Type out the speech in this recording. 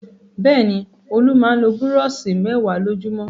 Bẹ́ẹ̀ ni, Olú máa ń lo búrọ́ṣì mẹ́wàá lójúmọ́.